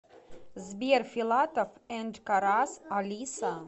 сбер филатов энд карас алиса